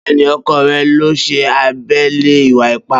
beni oko re lo se abele iwa-ipa